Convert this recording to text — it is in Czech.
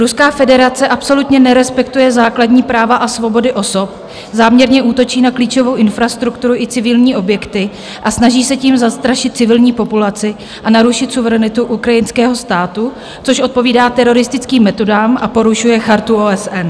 Ruská federace absolutně nerespektuje základní práva a svobody osob, záměrně útočí na klíčovou infrastrukturu i civilní objekty a snaží se tím zastrašit civilní populaci a narušit suverenitu ukrajinského státu, což odpovídá teroristickým metodám a porušuje Chartu OSN.